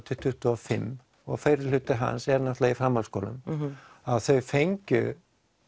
til tuttugu og fimm og fyrri hluti hans er náttúrulega í framhaldsskólum að þau fengju